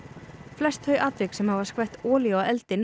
flest þau atvik sem hafa skvett olíu á eldinn